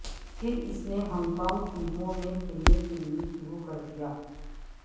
پھر اس نے ہانگ کانگ فلموں میں کھیلنے کے لئے شروع کر دیا